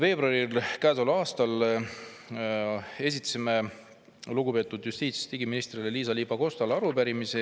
Käesoleva aasta 12. veebruaril esitasime lugupeetud justiits‑ ja digiministrile Liisa-Ly Pakostale arupärimise.